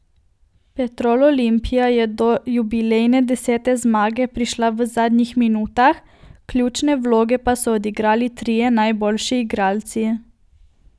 Petrol Olimpija je do jubilejne desete zmage prišla v zadnjih minutah, ključne vloge pa so odigrali trije najboljši igralci.